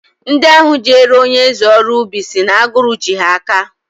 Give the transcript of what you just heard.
Ndị ahụ jeere onyeeze ọrụ ubi si na agụrụ ji ha aka